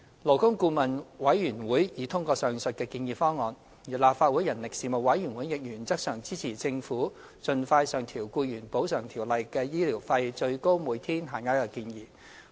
勞工顧問委員會已通過上述的建議方案，而立法會人力事務委員會亦原則上支持政府盡快上調《僱員補償條例》的醫療費最高每天限額的建議。